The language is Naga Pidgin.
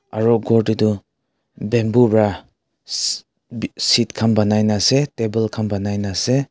aro kor dae tho bamboo vra seat kan banai na ase table kan banai na ase.